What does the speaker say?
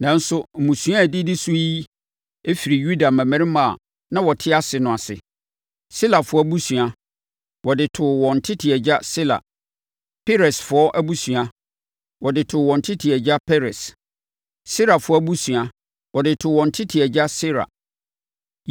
Nanso, mmusua a ɛdidi so yi firi Yuda mmammarima a na wɔte ase no ase. Selafoɔ abusua, wɔde too wɔn tete agya Sela. Peresfoɔ abusua, wɔde too wɔn tete agya Peres. Serafoɔ abusua, wɔde too wɔn tete agya Serah.